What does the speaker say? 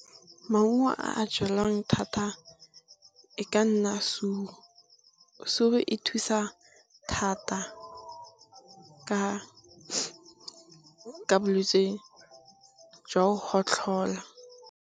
Maungo a jalwang thata e ka nna suru, suru e thusa thata ka bolwetse jwa go gotlhola.